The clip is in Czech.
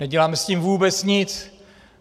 Neděláme s tím vůbec nic.